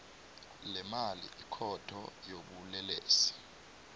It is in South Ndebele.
lemali ikhotho yobulelesi